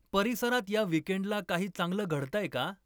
परिसरात या वीकेंडला काही चांगलं घडतंय का?